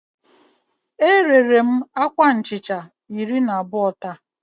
E rere m akwa nhicha iri na abụọ taa